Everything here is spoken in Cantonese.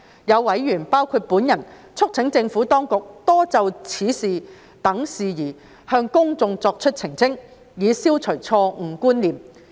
有委員，包括我促請政府當局多就此等事宜向公眾作澄清，以消除錯誤觀念。